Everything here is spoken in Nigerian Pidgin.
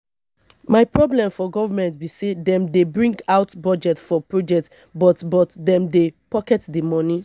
my problem for government be say dem dey bring out budget for project but but dem dey pocket the money